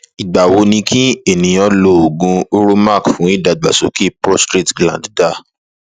igba wo ni ki eniyan lo ogun uromax fun idagbasoke prostrate gland da